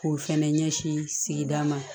K'o fɛnɛ ɲɛsin sigida ma